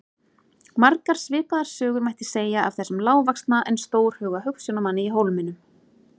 Margar svipaðar sögur mætti segja af þessum lágvaxna en stórhuga hugsjónamanni í Hólminum.